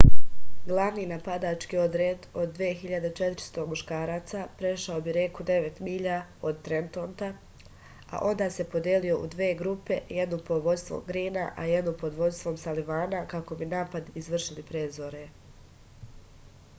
glavni napadački odred od 2400 muškaraca prešao bi reku devet milja od trentona a onda se podelio u dve grupe jednu pod vođstvom grina i jednu pod vođstvom salivana kako bi napad izvršili pre zore